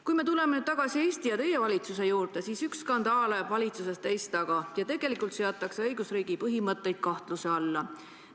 Kui me tuleme tagasi Eesti ja teie valitsuse juurde, siis üks skandaal ajab valitsuses teist taga ja tegelikult on õigusriigi põhimõtteid kahtluse alla seatud.